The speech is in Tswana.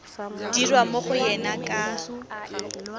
dirwa mo go ena ka